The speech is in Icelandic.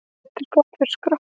Nudd er gott fyrir skrokkinn.